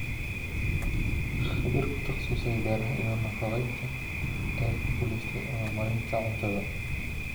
Khabiir ku taqasusay beeraha iyo nafaqaynta ayaa ku guulaystay abaal marinta cuntada.